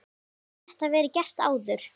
Hefur þetta verið gert áður?